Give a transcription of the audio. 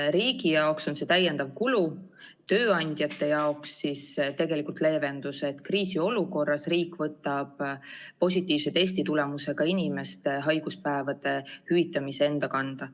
Riigi jaoks on see täiendav kulu, aga tööandjate jaoks tegelikult leevendus, et kriisiolukorras võtab riik positiivse testitulemusega inimeste haiguspäevade hüvitamise enda kanda.